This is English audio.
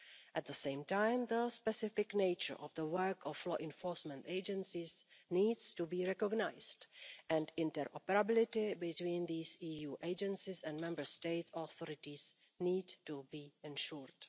At the same time, the specific nature of the work of law enforcement agencies needs to be recognised, and interoperability between these EU agencies and Member State authorities needs to be ensured.